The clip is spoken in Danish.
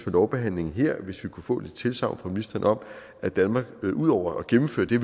lovbehandlingen her kunne få et tilsagn fra ministeren om at danmark ud over at gennemføre det